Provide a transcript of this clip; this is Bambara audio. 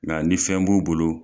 Nga ni fɛn b'u bolo